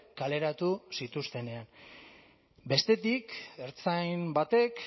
kaleratu zituztenean bestetik ertzain batek